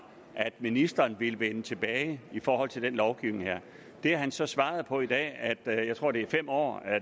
at ministeren ville vende tilbage i forhold til den her lovgivning det har han så svaret på i dag jeg tror at det er fem år